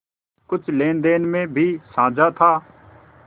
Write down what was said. कुछ लेनदेन में भी साझा था